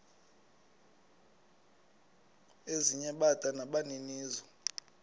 ezinye bada nabaninizo